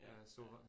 Ja. Ja